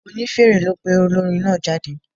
Onífèrè ló pe olórin náà jáde.